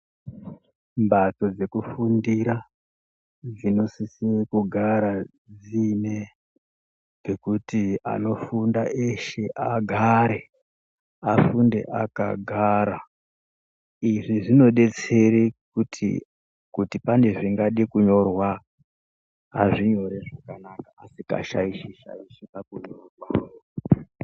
Mbatso dzekufundira dzinosisisire kugara dziine pekuti anofunda eshe agare afunde akagara izvi zvinodetsere kuti kuti pane zvingade kunyorwa azvinyore zvakanaka, asikashaishi-shaishi pakunyora kwawo.